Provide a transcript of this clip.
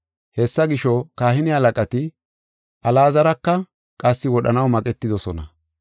Hessa gisho, kahine halaqati Alaazaraka qassi wodhanaw maqetidosona.